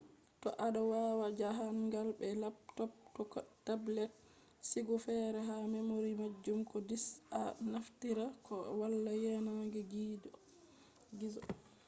to ado wada jahangal be laptop ko tablet sigu fere ha memory majum ko disca naftira koh wala yanan gizo